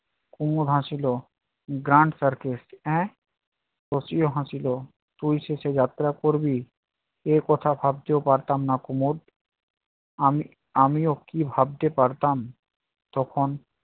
কুমদ হাসিল grand circus এ্যঁ শশীও হাসিল, তুই শেষে যাত্রা করবি? এই কথা ভাবতেও পারতাম না কুমদ। আমি আমিও কি ভাবতে পারতাম তখন